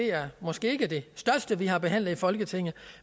er måske ikke det største vi har behandlet i folketinget